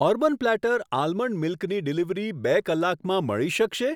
Urban platter almond મિલ્કની delivery બે કલાકમાં મળી શકશે?